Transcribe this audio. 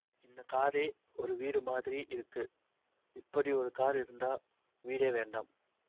இந்த காரே ஒரு வீடு மாதிரி இருக்கு இப்படி ஒரு கார் இருந்தா வீடே வேண்டாம்